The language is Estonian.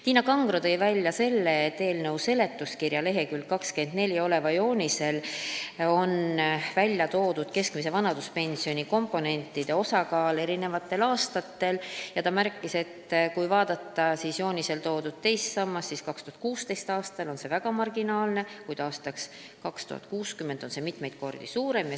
Tiina Kangro tõi välja selle, et eelnõu seletuskirja lk 24 oleval joonisel on välja toodud keskmise vanaduspensioni komponentide osakaal eri aastatel ja kui vaadata joonisel toodud teist sammast, siis 2016. aastal on see väga marginaalne, aastal 2060 aga mitmeid kordi suurem.